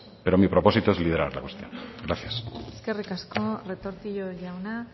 pero mi propósito es liderar la cuestión gracias eskerrik asko retortillo jauna